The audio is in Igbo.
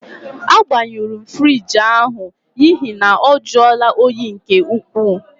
Agbanyuru m fruidge ahụ n'ihi na ọ juola óyi nke ukwuu.